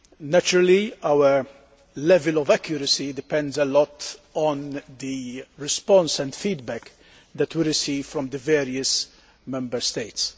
Naturally, our level of accuracy depends a lot on the response and feedback that we receive from the various Member States.